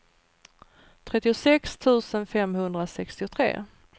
trettiosex tusen femhundrasextiotre